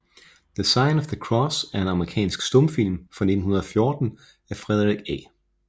The Sign of the Cross er en amerikansk stumfilm fra 1914 af Frederick A